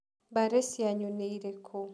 Mbari cianyu nĩ irĩkũ?